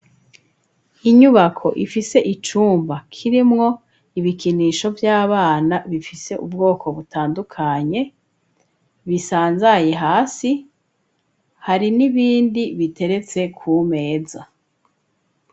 Inyubako ifise icumba kirimwo ibikinisho vy'abana bifise ubwoko butandukanye, bisanzaye hasi hari n'ibindi biteretse ku meza.